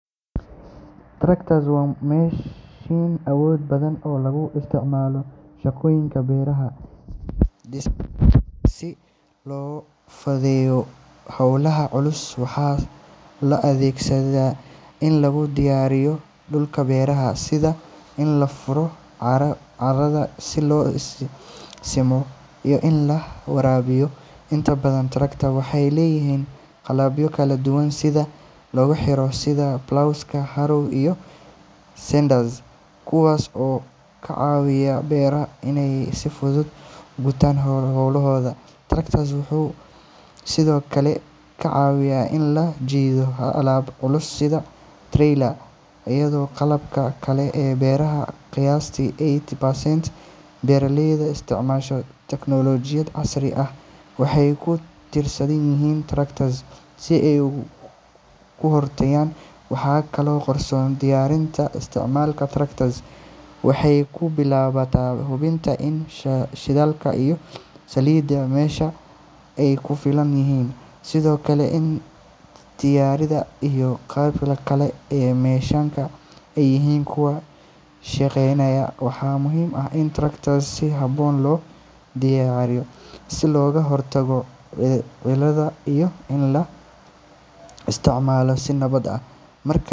Tractor waa mashiin awood badan oo loo isticmaalo shaqooyinka beeraha iyo dhismaha si loo fududeeyo hawlaha culus. Waxaa loo adeegsadaa in lagu diyaarsho dhulka beerta, sida in la furo carrada, la simo, iyo in la waraabiyo. Inta badan tractors waxay leeyihiin qalabyo kala duwan oo lagu xiro sida ploughs, harrows, iyo seeders kuwaas oo ka caawiya beeralayda inay si hufan u gutaan hawlahooda. Tractor wuxuu sidoo kale ka caawiyaa in la jiido alaabta culus sida trailers iyo qalabka kale ee beeraha. Qiyaastii eighty percent beeralayda isticmaala tiknoolajiyada casriga ah waxay ku tiirsan yihiin tractors si ay u kordhiyaan wax soo saarkooda. Diyaarinta isticmaalka tractor waxay ku bilaabantaa hubinta in shidaalka iyo saliidda mashiinka ay ku filan yihiin, sidoo kale in taayirrada iyo qaybaha kale ee mashiinka ay yihiin kuwo shaqeynaya. Waxaa muhiim ah in tractor si habboon loo dayactiro si looga hortago cilado iyo in la isticmaalo si nabad ah. Marka.